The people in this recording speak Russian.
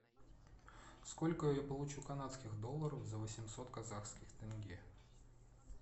сколько я получу канадских долларов за восемьсот казахских тенге